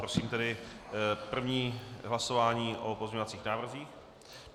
Prosím tedy první hlasování o pozměňovacích návrzích.